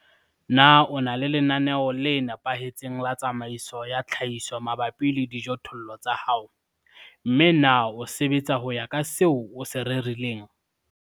Na o na le lenaneo le nepahetseng la tsamaiso ya tlhahiso mabapi le dijothollo tsa hao, mme na o sebetsa ho ya ka seo o se rerileng?